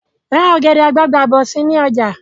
Ra ọ̀gẹ̀dẹ̀ àgbagbà bọ̀ si ni ọjà